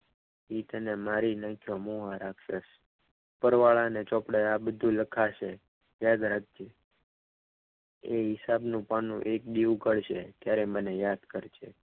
એ તને મારી નાખ્યો છે મુવા રાખ્યો છે ઉપરવાળાને ચોપડે આ બધું લખાશે યાદ રાખજે એ હિસાબનું પાનું એક દી ઉઘડશે ત્યારે મને યાદ કરજે.